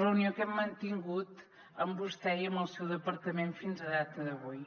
reunió que hem mantingut amb vostè i amb el seu departament fins a data d’avui